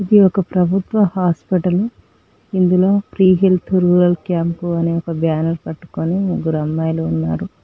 ఇది ఒక ప్రభుత్వ హాస్పిటల్ ఇందులో ఫ్రీ హెల్త్ రూరల్ క్యాంపు అనే ఒక బ్యానర్ పట్టుకొని ముగ్గురు అమ్మాయిలు ఉన్నారు.